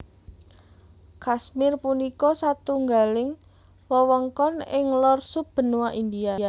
Kashmir punika satunggaling wewengkon ing lor sub benua India